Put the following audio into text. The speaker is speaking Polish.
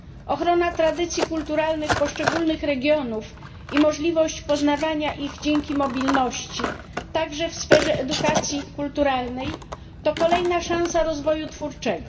Ochrona tradycji kulturalnych poszczególnych regionów i możliwość poznawania ich dzięki mobilności, także w sferze edukacji kulturalnej, to kolejna szansa rozwoju twórczego.